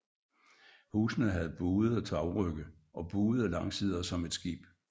Husene havde buede tagrygge og buede langsider som et skib